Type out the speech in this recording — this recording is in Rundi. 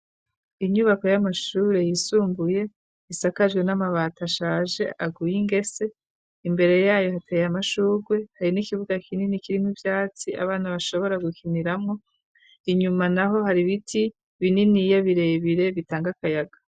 Inyubako y'amashure yisumbuye isakajwe n'amabata ashaje aguye ingese imbere yayo hateye amashugwe hari n'ikibuga kinini kirim ibyatsi abana bashobora gukiniramwo inyuma naho hari biti binini yabirebire bitanga kayaga.